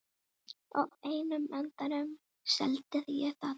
Á endanum seldi ég það.